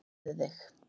Æfðu þig.